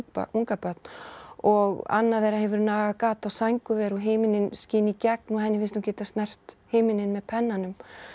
ungabörn og annað þeirra hefur nagað gat á sængurver og himininn skín í gegn og henni finnst hún geta snert himininn með pennanum